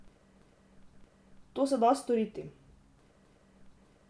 To se da storiti.